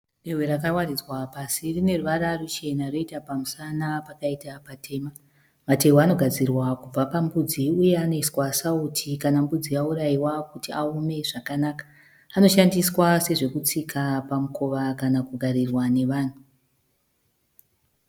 Dehwe rakawaridzwa pasi, rine ruwara ruchena roita pamusana pakaita patema. Matehwe anogadzirwa kubva pambudzi uye anoiswa sauti kana mbudzi yauraiwa kuti aome zvakanaka. Anoshandiswa sezvokutsika pamukowa kana kugarirwa nevanhu.